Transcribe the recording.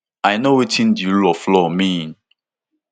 i know wetin di rule of law mean